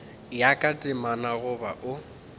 ya ka temana goba o